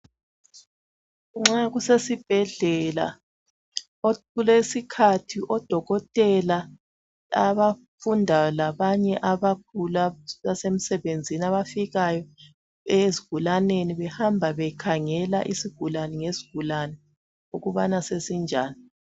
Nxa kusesibhedlela kulesikhathi odokotela abafundayo labanye abasemsebenzini abafikayo ezigulaneni behamba bekhangela isigulane ngesigulane ukubana sesinjani